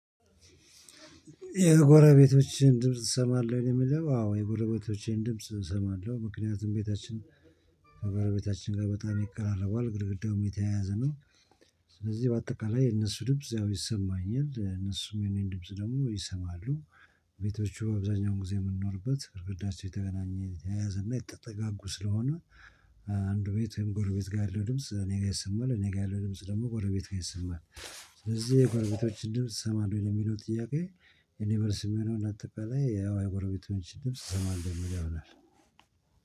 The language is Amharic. የጎረቤቶችህን ድምጽ ትሰማለሁ ነው የሚለው አዎ የጎረቤቶቼን ድምጽ እሰማለሁ ምክንያቱም ቤታችን ከጎረቤታችን ጋር በጣም ይቀራረባል ግድግዳውም የተያያዘ ነው ስለዚህ በአጠቃላይ የነሱ ድምጽ ያው ይሰማኛል እነሱም የኔን ድምጽ ደግሞ ይሰማሉ ቤቶቹ አብዛኛውን ጊዜ የምንኖርበት ግድግዳቸው የተገናኘ የተያዘና የተጠጋጉ ስለሆነ እ አንዱ ቤትም ጎሮቤት ጋር ያለው ድምጽ እኔ ጋር ይሰማል እኔ ጋር ያለው ድምጽ ደግሞ ጎረቤት ጋር ይሰማል ስለዚህ የጎረቤቶችን ድምጽ ትሰማለህ ለሚለው ጥያቄ ለእኔ መልስ የሚሆነው እንዳጠቃላይ ያው የጎረቤቶችን ድምጽ እሰማለሁ የሚለው ይሆናል።